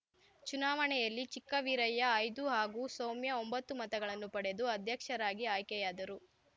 ಚುನಾವಣೆಯಲ್ಲಿ ಚಿಕ್ಕವೀರಯ್ಯ ಐದು ಹಾಗೂ ಸೌಮ್ಯ ಒಂಬತ್ತು ಮತಗಳನ್ನು ಪಡೆದು ಅಧ್ಯಕ್ಷರಾಗಿ ಆಯ್ಕೆಯಾದರು